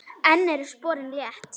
Enn eru sporin létt.